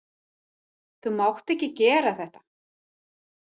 Þú mátt ekki gera þetta.